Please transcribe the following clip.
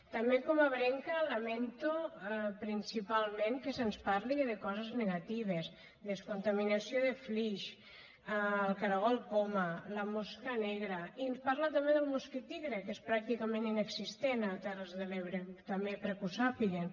també com a ebrenca lamento principalment que se’ns parli de coses negatives descontaminació de flix el cargol poma la mosca negra i ens parla també del mosquit tigre que és pràcticament inexistent a les terres de l’ebre també perquè ho sàpiguen